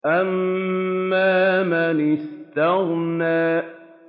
أَمَّا مَنِ اسْتَغْنَىٰ